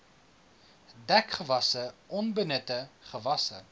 dekgewasse onbenutte gewasse